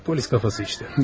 Polis kafası işdə.